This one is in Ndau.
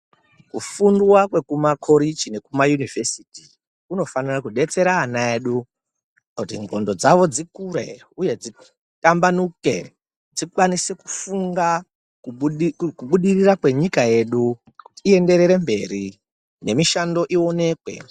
Kufundwa kwekuma koreji nekuma univhesiti kunofanira kudetsera ana edu kuti ngqondo dzavo dzikure uye dzitambanuke dzikwanise kufunga kubudirira kwenyika yedu uye iyende mberi nemishando iwonekwe.